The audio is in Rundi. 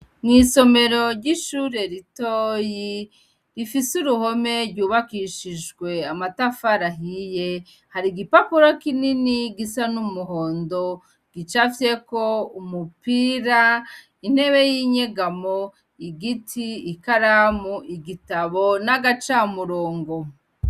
Mwisomero ry'ishuri ritoyi ,rifise uruhome ry'ubakishijwe amatafari ahiye , harig'ipapuro kinini gisa n'umuhondo gicapfyeko, umupira, intebe y'inyegamo, igiti, ikaramu , igitabo n'agacamurongo.